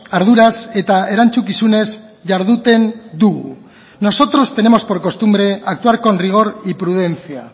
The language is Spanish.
arduraz eta erantzukizunez jarduten dugu nosotros tenemos por costumbre actuar con rigor y prudencia